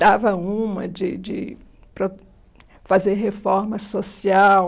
Dava uma de de pro fazer reforma social.